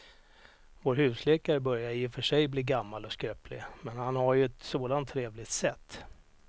Vår husläkare börjar i och för sig bli gammal och skröplig, men han har ju ett sådant trevligt sätt!